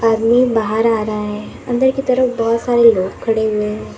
बाहर आ रहा है अंदर की तरफ बहुत सारे लोग खड़े हुए हैं।